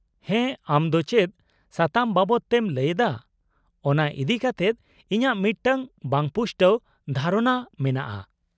-ᱦᱮᱸ, ᱟᱢ ᱫᱚ ᱪᱮᱫ ᱥᱟᱛᱟᱢ ᱵᱟᱵᱚᱫᱛᱮᱢ ᱞᱟᱹᱭᱮᱫᱟ ᱚᱱᱟ ᱤᱫᱤ ᱠᱟᱛᱮᱫ ᱤᱧᱟᱹᱜ ᱢᱤᱫᱴᱟᱝ ᱵᱟᱝᱯᱩᱥᱴᱟᱹᱣ ᱫᱷᱟᱨᱚᱱᱟ ᱢᱮᱱᱟᱜᱼᱟ ᱾